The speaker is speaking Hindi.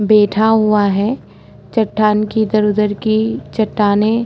बैठा हुआ है चट्टान की इधर-उधर की चट्टानें --